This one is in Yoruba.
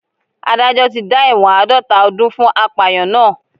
Adájọ́ tí dá ẹ̀wọ̀n àádọ́ta ọdún fún apàyàn náà